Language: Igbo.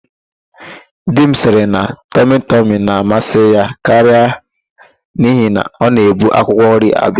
Di m sịrị na tọmịtọmị na-amasị ya karịa n'ihi na ọ na-ebu akwụkwọnri abịa.